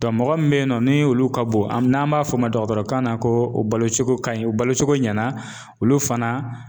mɔgɔ min bɛ yen nɔ ni olu ka bon an n'an b'a fɔ o ma dɔgɔtɔrɔ kan na ko o balocogo ka ɲi u balocogo ɲɛna olu fana